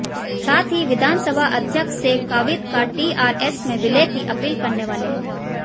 साथ ही विधानसभा अध्यक्ष से काविद का टीआरएस में विलय की अपील करने वाले हैं